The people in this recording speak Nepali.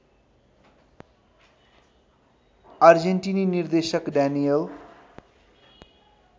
अर्जेन्टिनी निर्देशक डानिएल